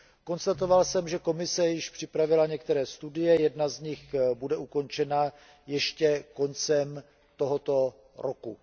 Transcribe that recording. Konstatoval jsem, že Komise již připravila některé studie, jedna z nich bude ukončena ještě koncem tohoto roku.